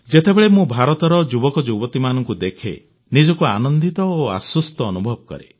ଯେତେବେଳେ ମୁଁ ଭାରତର ଯୁବକଯୁବତୀଙ୍କୁ ଦେଖେ ନିଜକୁ ଆନନ୍ଦିତ ଓ ଆଶ୍ୱସ୍ତ ଅନୁଭବ କରେ